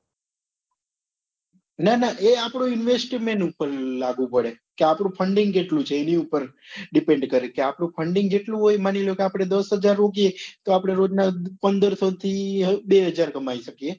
ના ના એ આપડું investment ઉપર લાગુ પડે કે આપડું funding કેટલું છે એની ઉપર depend કરે કે આપડું funding જેટલું હોય માંનીલો કે આપડે દસહજાર રોકીએ એ આપડે રોજ ના પંદરસો થી બે હજાર કમાઈ શકીએ